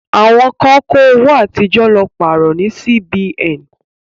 Àwọn kan kó owó àtijọ́ lọ pàrọ̀ ní Sí-Bi-Ẹ̀n.